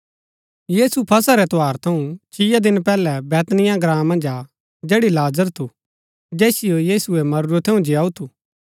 यीशु फसह रै त्यौहार थऊँ छिया दिन पैहलै बैतनिय्याह ग्राँ मन्ज आ जैड़ी लाजर थू जैसियो यीशुऐ मरुरै थऊँ जीयाऊ थू